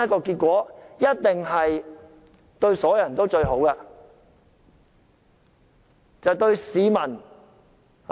這一定是對所有人最好的結果。